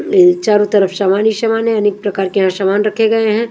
ये चारों तरफ समान ही समान हैं अनेक प्रकार के यहां सामान रखे गए हैं।